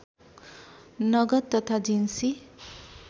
नगद तथा जिन्सी